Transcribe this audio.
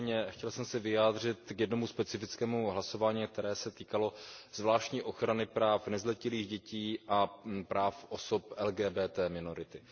Nicméně chtěl jsem se vyjádřit k jednomu specifickému hlasování, které se týkalo zvláštní ochrany práv nezletilých dětí a práv osob LGBT minority.